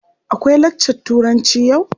Akwai lakcar Turanci yau?